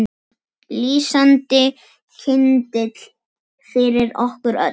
Lýsandi kyndill fyrir okkur öll.